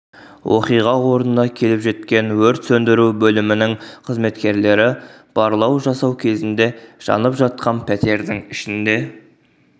оқиға орнына келіп жеткен өрт сөндіру бөлімінің қызметкерлері барлау жасау кезінде жанып жатқан пәтердің ішінде